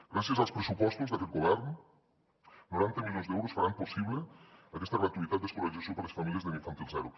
gràcies als pressupostos d’aquest govern noranta milions d’euros faran possible aquesta gratuïtat d’escolarització per les famílies d’infantil zero